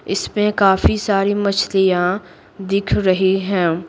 इसमें काफी सारी मछलियां दिख रही हैं।